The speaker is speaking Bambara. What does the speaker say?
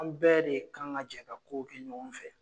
An bɛɛ de kan ka jɛn ka kow kɛ ɲɔgɔn fɛ